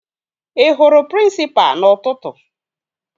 Ị hụrụ prịnsịpa n'ụtụtụ?